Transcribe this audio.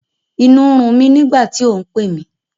Inú n run mí nígbàtí o n pẹ́ mi